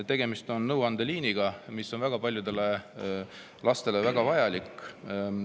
Tegemist on nõuandeliiniga, mis on väga paljudele lastele väga vajalik.